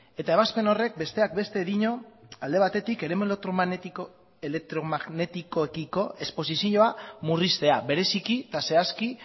ebazpen horrek besteak beste dio alde batetik eremu elektromagnetikoekiko esposizioa murriztea bereziki eta zehazki